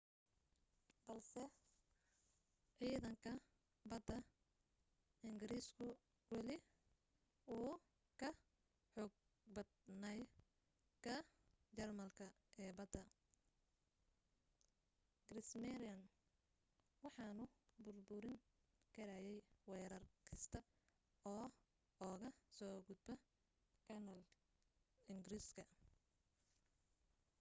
balse ciidanka badda ingiriisku weli wuu ka xoog badnaa ka jarmalka ee badda kriegsmarine waxaanu burburin karayay weerar kasta oo uga soo gudba kanaal ingiriiska